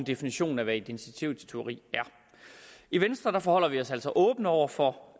definition af hvad identitetstyveri er i venstre forholder vi os altså åbent over for